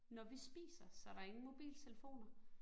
Nå vi spiser, så der ingen mobiltelefoner